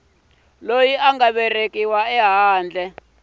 loyi a nga velekiwa ehandle